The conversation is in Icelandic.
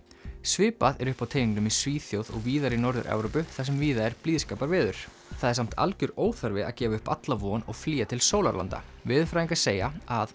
svipað er uppi á teningnum í Svíþjóð og víðar í Norður Evrópu þar sem víða er blíðskaparveður það er samt algjör óþarfi að gefa upp alla von og flýja til sólarlanda veðurfræðingar segja að